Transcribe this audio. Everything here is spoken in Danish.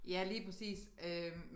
Ja lige præcis øh